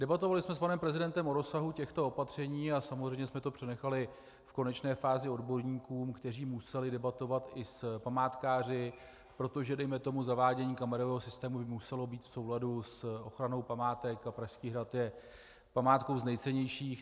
Debatovali jsme s panem prezidentem o rozsahu těchto opatření a samozřejmě jsme to přenechali v konečné fázi odborníkům, kteří museli debatovat i s památkáři, protože dejme tomu zavádění kamerového systému by muselo být v souladu s ochranou památek, a Pražský hrad je památkou z nejcennějších.